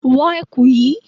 Wo ẹ̀kú yìí!